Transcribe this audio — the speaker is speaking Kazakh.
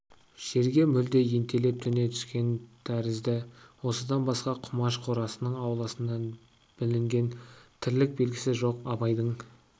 жерге мүлде ентелеп төне түскен тәрізді осыдан басқа құмаш қорасының ауласынан білінген тірлік белгісі жоқ абайдың